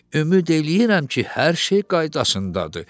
Ümid eləyirəm ki, hər şey qaydasındadır.